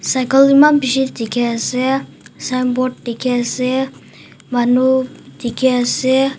cycle eman bishi tiki ase sign board tiki ase manu tiki ase.